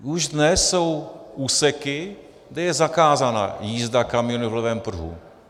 Už dnes jsou úseky, kde je zakázána jízda kamionů v levém pruhu.